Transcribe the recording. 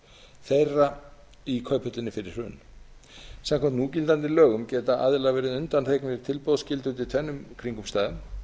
þeirra í kauphöllinni fyrir hrun samkvæmt núgildandi lögum geta aðilar verið undanþegnir tilboðsskyldu undir tvennum kringumstæðum